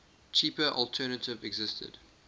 cheaper alternative existed